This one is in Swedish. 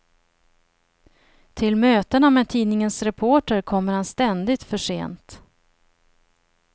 Till mötena med tidningens reporter kommer han ständigt för sent.